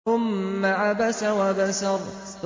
ثُمَّ عَبَسَ وَبَسَرَ